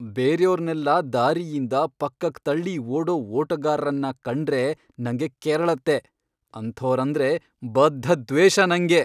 ಬೇರ್ಯೋರ್ನೆಲ್ಲ ದಾರಿಯಿಂದ ಪಕ್ಕಕ್ಕ್ ತಳ್ಳಿ ಓಡೋ ಓಟಗಾರ್ರನ್ನ ಕಂಡ್ರೆ ನಂಗೆ ಕೆರಳತ್ತೆ, ಅಂಥೋರಂದ್ರೆ ಬದ್ಧ ದ್ವೇಷ ನಂಗೆ.